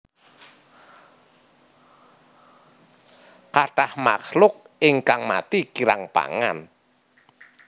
Kathah makhluk ingkang mati kirang pangan